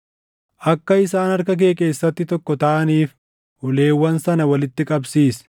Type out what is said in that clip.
Akka isaan harka kee keessatti tokko taʼaniif uleewwan sana walitti qabsiis.